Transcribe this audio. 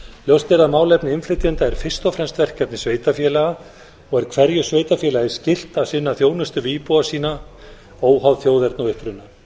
ljóst er að málefni innflytjenda er fyrst og fremst verkefni sveitarfélaga og er hverju sveitarfélagi skylt að sinna þjónustu við íbúa sína óháð þjóðerni og uppruna